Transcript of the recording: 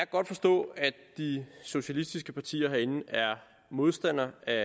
godt forstå at de socialistiske partier herinde er modstandere af